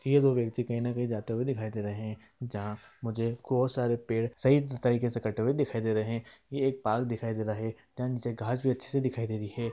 ये दो व्यक्ति कहीं ना कहीं जाते हुए दिखाई दे रहे हैं जहाँ मुझे को सारे पेड़ सही तरीके से कटे हुए दिखाई दे रहा है| ये एक पार्क दिखाई दे रहा है जहाँ नीचे घास भी अच्छे से दिखाई दे रही है।